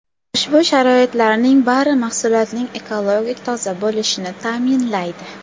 Ushbu sharoitlarning bari mahsulotning ekologik toza bo‘lishini ta’minlaydi.